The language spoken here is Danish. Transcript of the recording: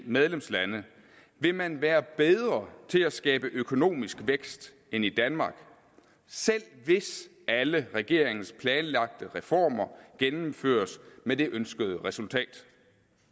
medlemslande vil man være bedre til at skabe økonomisk vækst end i danmark selv hvis alle regeringens planlagte reformer gennemføres med det ønskede resultat